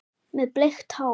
Með bleikt hár.